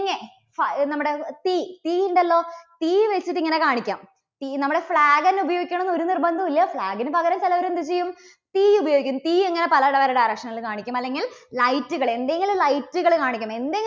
ഹാ നമ്മുടെ തീ, തീ ഉണ്ടല്ലോ. തീ വെച്ചിട്ട് ഇങ്ങനെ കാണിക്കാം. തീ, നമ്മുടെ flag തന്നെ ഉപയോഗിക്കണം എന്ന് ഒരു നിർബന്ധവുമില്ല. flag ന് പകരം ചിലവര് എന്ത് ചെയ്യും? തീ ഉപയോഗിക്കും. തീ ഇങ്ങനെ പല പല direction ൽ കാണിക്കും. അല്ലെങ്കിൽ light കള്, എന്തെങ്കിലും light കള് കാണിക്കും എന്തെ~